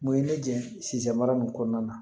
Mun ye ne jɛ sisan mara nin kɔnɔna na